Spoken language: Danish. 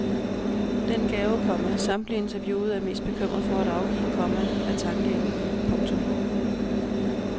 Den gave, komma samtlige interviewede er mest bekymret for at afgive, komma er tankeevnen. punktum